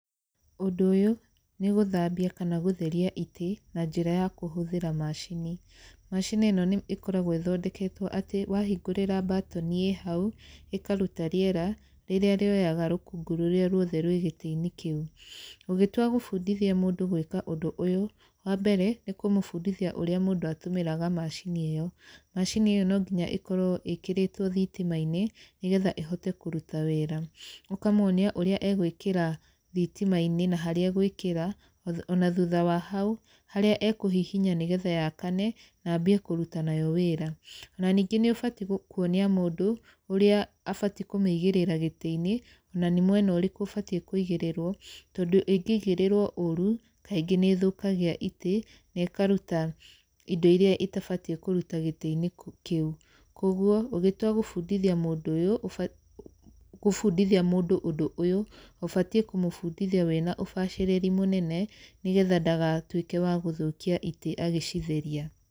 Ũndũ ũyũ, nĩ gũthambia kana gũtheria itĩ na njĩra ya kũhũthĩra macini. Macini ĩno nĩ ĩkoragwo ĩthondeketwo atĩ wahingũrĩra mbatoni ĩĩ hau, ĩkaruta rĩera rĩrĩa rĩoyaga rũkũngũ rũrĩa ruothe rwĩ gĩtĩ-inĩ kĩu. Ũgĩtua gũbundithia mũndũ gwĩka ũndũ ũyũ, wa mbere, nĩ kũmũbundithia ũrĩa mũndũ atũmĩraga macini ĩyo. Macinĩ ĩyo no nginya ĩkorwo ĩkĩrĩtwo thitima-inĩ nĩ getha ĩhote kũruta wĩra. Ũkamuonia ũrĩa egwĩkĩra thitima-inĩ na harĩa egwĩkĩra, ona thutha wa hau, harĩa ekũhihinya nĩ getha yakane, na ambie kũruta nayo wĩra. Ona ningĩ nĩ ũbatiĩ kuonia mũndũ ũrĩa abatiĩ kũmĩigĩrĩra gĩtĩ-inĩ, ona nĩ mwena ũrĩkũ ũbatiĩ kũigĩrĩrwo, tondũ ĩngĩigĩrĩrwo ũũru kaingĩ nĩ ĩthũkagia itĩ na ĩkaruta indo irĩa ĩtabatiĩ kũruta gĩtĩ-inĩ kĩu. Kũguo, ũgĩtua gũbundithia mũndũ ũyũ gũbundithia mũndũ ũndũ ũyũ, ũbatiĩ kũmũbundithia wĩna ũbacĩrĩri mũnene nĩ getha ndagatuĩke wa gũthũkia itĩ agĩcitheria.